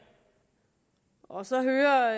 og så høre